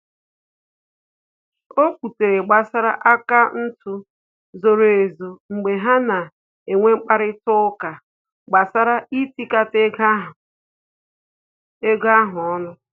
O kwutere gbasara akaụntụ zoro ezo mgbe ha na enwe mkparịta ụka gbasara itikata ego ha ọnụ